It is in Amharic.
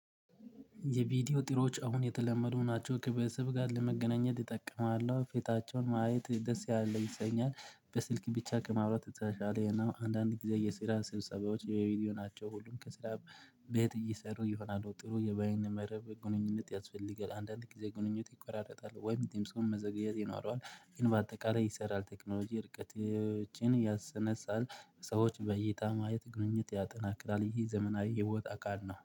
የቪዲዮ ጥሮች አሁን የተለመዱ ናቸው ከቤተሰብ ጋር ለመገናኘት እጠቀማለሁ ፊታቸውን ማየት ደስ ያለ ይሰኛል በስልክ ብቻ ከማውራት የተሻለ ነው። አንዳንድ ጊዜ የስራ ስብሰባዎች የቪዲዮ ናቸው ሁሉም ከስራ ቤት እየሰሩ ይሆናሉ ጥሩ የባይን መረብ ግንኙነት ያስፈልጋል። አንዳንድ ጊዜ ግንኙነት ይቆራረጣል ወይም ድምስን መዘግየት ይኖረዋል። ግን በአጠቃላይ ይሰራል ቴክኖሎጂ ርቀቶችን ያሰነሳል። ሰዎች በይታ ማየት ግንኙነት ያጠናክላል ይህ ዘመናዊ የህይወት አካል ነው